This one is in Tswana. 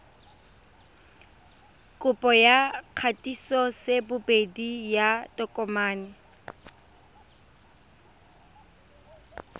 kopo ya kgatisosebedi ya tokomane